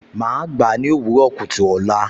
Màá gbà á ní òwúrọ̀ kùtù ọ̀la